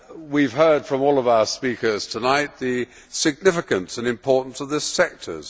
We have heard from all our speakers tonight about the significance and importance of this sector.